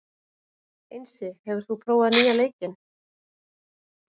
Einsi, hefur þú prófað nýja leikinn?